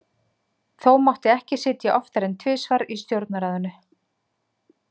Þó mátti ekki sitja oftar en tvisvar í stjórnarráðinu.